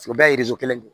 U bɛɛ ye kelen de ye